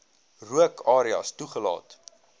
rook areas toegelaat